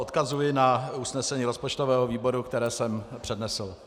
Odkazuji na usnesení rozpočtového výboru, které jsem přednesl.